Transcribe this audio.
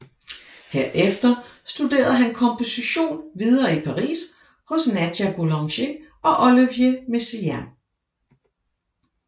Herefter studerede han komposition videre i Paris hos Nadia Boulanger og Olivier Messiaen